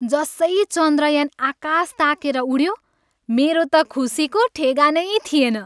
जसै चन्द्रयान आकास ताकेर उड्यो, मेरो त खुसीको ठेगानै थिएन।